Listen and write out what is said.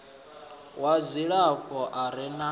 wa dzilafho a re na